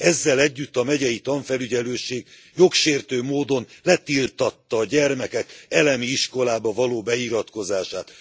Ezzel együtt a megyei tanfelügyelőség jogsértő módon letiltatta a gyermekek elemi iskolába való beiratkozását.